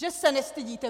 Že se nestydíte!